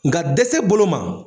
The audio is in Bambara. Nka dɛsɛ bolo ma.